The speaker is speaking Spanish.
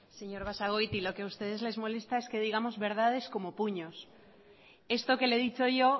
señor basagoiti lo que a ustedes les molesta es que digamos verdades como puños esto que le he dicho yo